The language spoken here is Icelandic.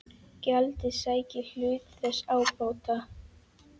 Gjaldið sæki hluta þess ábata.